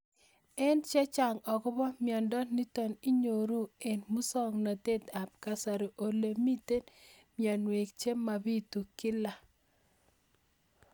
Ng'alek chechang' akopo miondo nitok inyoru eng' muswog'natet ab kasari ole mito mianwek che mapitu kila